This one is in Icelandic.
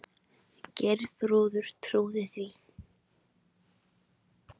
Geirþrúður trúði því.